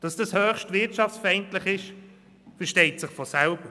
Dass dies höchst wirtschaftsfeindlich ist, versteht sich von selbst.